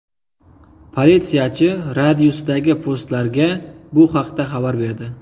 Politsiyachi radiusdagi postlarga bu haqda xabar berdi.